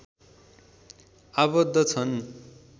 आबद्ध छन्